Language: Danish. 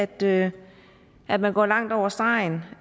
det at man går langt over stregen